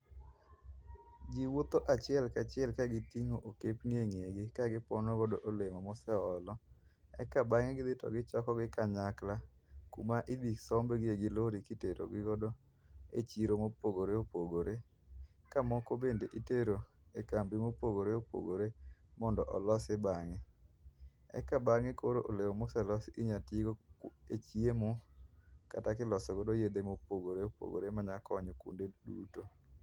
Jii wuotho achiel kachiel ka gitingo okapni e ng'egi kagipono godo olemo ma oseolo eka bange to gidhi gichokogi kanyakla kuma idhi sombgi gi lori kiterogi e chiro ma opogore opogore ka moko bende itero e kambi mopogore opogore eka olose bange. Eka bange koro olemo maselosi inya tigodo e chiemo kata kiloso godo yedhe ma opogore opogore manya konyo kuonde duto